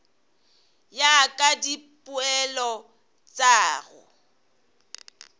ya ka dipoelo tša go